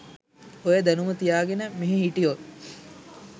ඔය දැනුම තියාගෙන මෙහෙ හිටියොත්